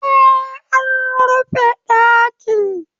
Eh, an rufe ɗakin